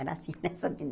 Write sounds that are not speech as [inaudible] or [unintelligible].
Era assim [laughs] nessa. [unintelligible]